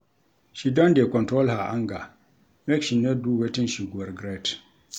She don dey control her anger, make she no do wetin she go regret.